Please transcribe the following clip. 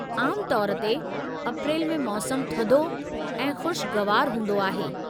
आमु तौर ते, अप्रैल में मौसमु थधो ऐं ख़ुशगवारु हूंदो आहे।